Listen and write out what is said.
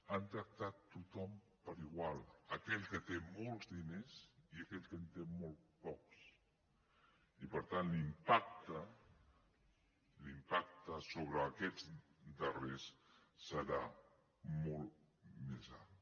han tractat tothom per igual aquell que té molts diners i aquell que en té molt pocs i per tant l’impacte sobre aquests darrers serà molt més alt